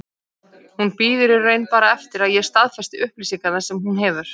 Hún bíður í raun bara eftir að ég staðfesti upplýsingarnar sem hún hefur.